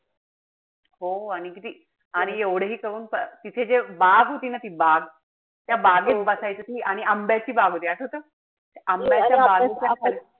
हो आणि किती आणि एवढेही करून तिथे जे बाग होती ना ती बाग. त्या बागेत बसायची आणि आंब्याची बाग होती. आठवतं? आंबाच्या बागेच्या खाली,